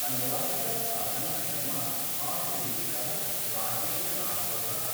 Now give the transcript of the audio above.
अनुवादिका साधना शर्मा आशुलिपिकः राजेश राठौरः